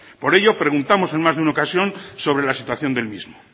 por ello preguntamos en más de una ocasión sobre la situación del mismo